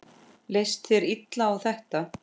Leist þér illa á þetta?